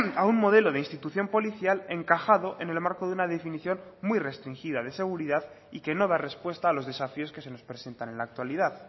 a un modelo de institución policial encajado en el marco de una definición muy restringida de seguridad y que no da respuesta a los desafíos que se nos presentan en la actualidad